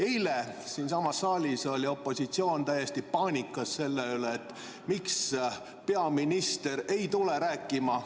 Eile siinsamas saalis oli opositsioon täiesti paanikas selle pärast, et miks peaminister ei tule rääkima.